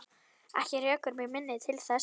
Ekki rekur mig minni til þess.